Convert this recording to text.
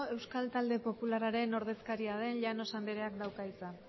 euskal talde popularraren ordezkaria den llanos andreak dauka hitza